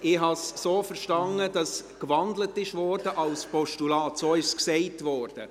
Ich habe es so verstanden, dass in ein Postulat gewandelt wurde.